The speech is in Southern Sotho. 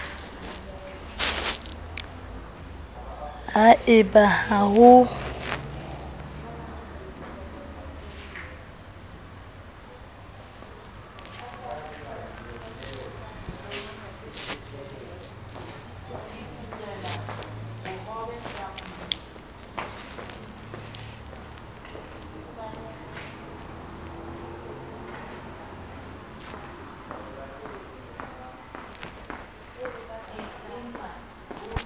ha e ba ha ho